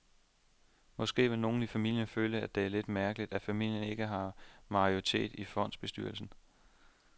Måske vil nogle i familien føle, at det er lidt mærkeligt, at familien ikke har majoriteten i fondsbestyrelsen.